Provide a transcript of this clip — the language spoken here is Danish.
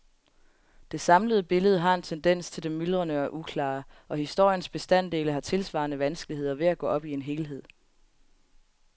Det samlede billede har en tendens til det myldrende og uklare, og historiens bestanddele har tilsvarende vanskeligheder ved at gå op i en helhed.